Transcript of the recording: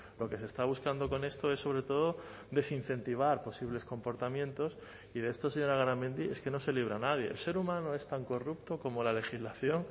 lo que se está buscando con esto es sobre todo desincentivar posibles comportamientos y de esto señora garamendi es que no se libra nadie el ser humano es tan corrupto como la legislación